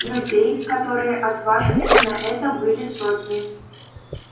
людей которые отваживались на это были сотни